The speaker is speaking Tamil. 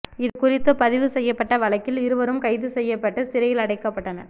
இது குறித்து பதிவு செய்யப்பட்ட வழக்கில் இருவரும் கைது செய்யப்பட்டு சிறையில் அடைக்கப்பட்டனர்